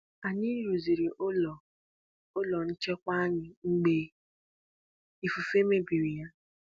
Anyị rụziri ụlọ ụlọ nchekwa anyị mgbe ifufe mebiri ya.